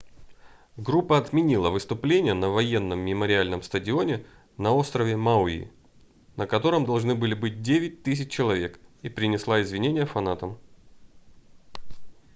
группа отменила выступление на военном мемориальном стадионе на острове мауи на котором должны были быть 9 000 человек и принесла извинения фанатам